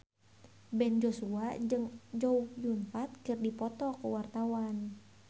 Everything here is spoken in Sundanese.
Ben Joshua jeung Chow Yun Fat keur dipoto ku wartawan